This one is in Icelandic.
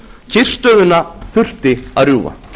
kyrrstöðuna þurfti að rjúfa